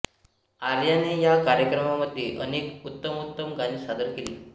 आर्याने या कार्यक्रमांमध्ये अनेक उत्तमोत्तम गाणी सादर केली